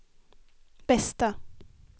bästa